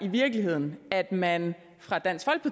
i virkeligheden at man fra dansk